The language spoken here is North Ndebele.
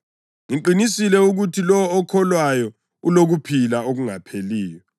Ngiqinisile ukuthi lowo okholwayo ulokuphila okungapheliyo.